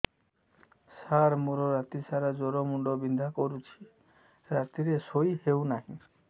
ସାର ମୋର ରାତି ସାରା ଜ୍ଵର ମୁଣ୍ଡ ବିନ୍ଧା କରୁଛି ରାତିରେ ଶୋଇ ହେଉ ନାହିଁ